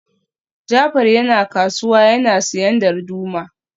Jafar yana kasuwa yana siyan darduma